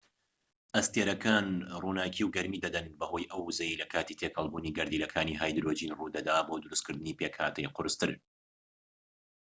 ئەستێرەکان ڕووناكی و گەرمی دەدەن بەهۆی ئەو ووزەیەی لە کاتی تێکەڵبوونی گەردیلەکانی هایدرۆجین ڕوو دەدات بۆ دروستکردنی پێکهاتەی قورستر